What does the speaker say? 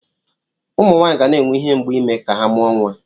Ụmụ Nwaanyị ga na-enwe ihe mgbu ime ka ha mụọ nwa.